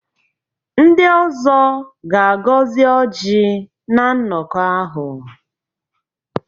Ndị ọzọ ga-agọzi Ọji na nnọkọ ahụ.